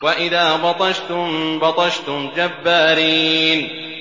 وَإِذَا بَطَشْتُم بَطَشْتُمْ جَبَّارِينَ